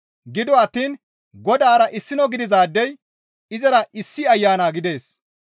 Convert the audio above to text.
Gido attiin Godaara issino gidizaadey izara issi Ayana gidees.